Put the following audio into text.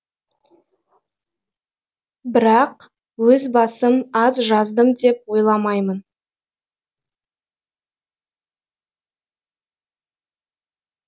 бірақ өз басым аз жаздым деп ойламаймын